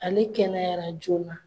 Ale kɛnɛyara joona.